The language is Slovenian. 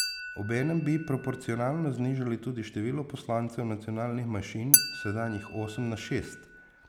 Obenem bi proporcionalno znižali tudi število poslancev nacionalnih manjšin s sedanjih osem na šest.